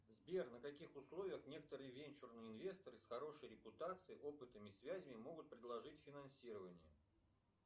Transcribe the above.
сбер на каких условиях некоторые венчурные инвесторы с хорошей репутацией опытом и связями могут предложить финансирование